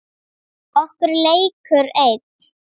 Og leikur einn.